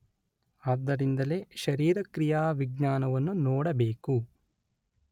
ಆದ್ದರಿಂದಲೇ ಶರೀರಕ್ರಿಯಾವಿಜ್ಞಾನವನ್ನು ನೋಡಬೇಕು.